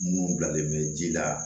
Mun bilalen bɛ ji la